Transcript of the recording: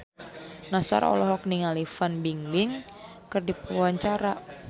Nassar olohok ningali Fan Bingbing keur diwawancara